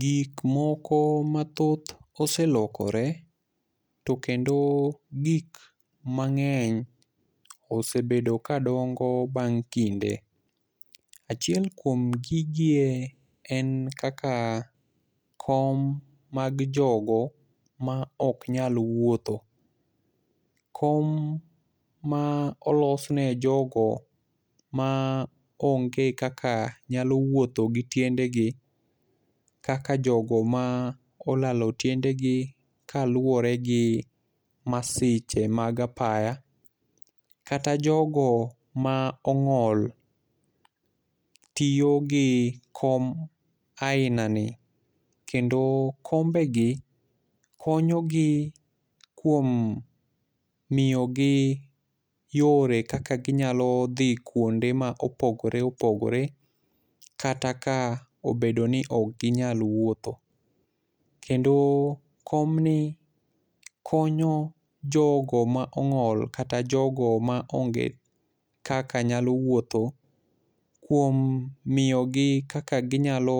Gik moko ma mathoth oselokore to kendo gik mang'eny osebedo ka dongo bang' kinde. Achiel kuom gigie en kaka kom mag jogo ma oknyal wuotho, kom ma olosne ne jogo ma onge kaka nyalo wuotho gi tiendegi, kaka jogo ma olalo tiende gi kaluwore gi masiche mag apaya, kata jogo ma ong'ol tiyo gi kom aina ni. Kendo kombe gi konyo gi kuom miyo gi yore kaka ginyalo dhi kuonde ma opogore opogore kata ka obedo ni okginyal wuotho. Kendo komni konyo jogo ma ong'ol, kata jogo ma onge kaka nyalo wuotho kuom miyo gi kaka ginyalo